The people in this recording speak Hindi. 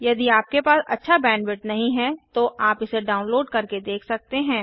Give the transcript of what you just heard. यदि आपके पास अच्छा बैंडविड्थ नहीं है तो आप इसे डाउनलोड करके देख सकते हैं